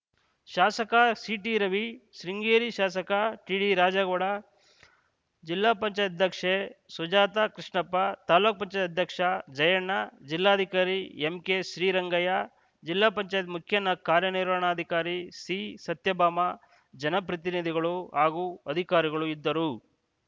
ಶಾಸಕ ಸಿಟಿ ರವಿ ಶೃಂಗೇರಿ ಶಾಸಕ ಟಿಡಿ ರಾಜೇಗೌಡ ಜಿಲ್ಲಾ ಪಂಚಾಯತ್ ಅಧ್ಯಕ್ಷೆ ಸುಜಾತ ಕೃಷ್ಣಪ್ಪ ತಾಲೂಕ್ ಪಂಚಾಯತ್ ಅಧ್ಯಕ್ಷ ಜಯಣ್ಣ ಜಿಲ್ಲಾಧಿಕಾರಿ ಎಂಕೆ ಶ್ರೀರಂಗಯ್ಯ ಜಿಲ್ಲಾ ಪಂಚಾಯತ್ ಮುಖ್ಯ ಕಾರ್ಯನಿರ್ವಹಣಾಧಿಕಾರಿ ಸಿಸತ್ಯಭಾಮ ಜನಪ್ರತಿನಿಧಿಗಳು ಹಾಗೂ ಅಧಿಕಾರಿಗಳು ಇದ್ದರು